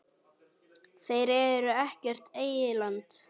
Þeir eru ekkert eyland.